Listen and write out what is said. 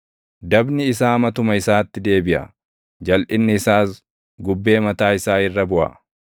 Dabni isaa matuma isaatti deebiʼa; jalʼinni isaas gubbee mataa isaa irra buʼa.